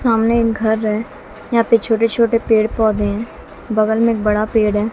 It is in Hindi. सामने घर है यहां पे छोटे छोटे पेड़ पौधे हैं बगल में एक बड़ा पेड़ है।